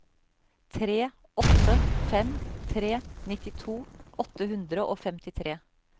tre åtte fem tre nittito åtte hundre og femtitre